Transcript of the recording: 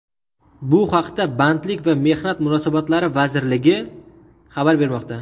Bu haqda Bandlik va mehnat munosabatlari vazirligi xabar bermoqda.